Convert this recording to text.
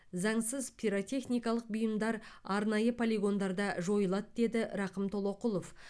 заңсыз пиротехникалық бұйымдар арнайы полигондарда жойылады деді рақым толоқұлов